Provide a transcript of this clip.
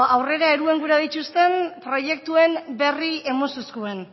aurrera eruen gura dittuzten proiektuen berri emun zuzkuen